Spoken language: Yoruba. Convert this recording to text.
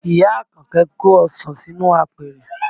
Ìyá Àkànkẹ́ kó ọsàn sínú apẹ̀rẹ̀